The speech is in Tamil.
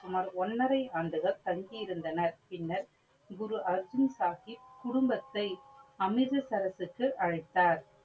சுமார் ஒன்னரை ஆண்டுகள் தங்கி இருந்தனர். பின்னர் குரு அர்ஜுன் சாஹிப் குடும்பத்தை அமிர்த அமிர்தசரஸ்க்கு அழைத்தார்.